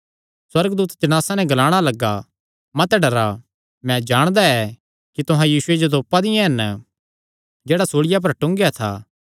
सुअर्गदूत जणासां नैं ग्लाणा लग्गा मत डरा मैं जाणदा ऐ कि तुहां यीशुये जो जेह्ड़ा सूल़िया पर टूंगेया था तिसियो तोपा दियां हन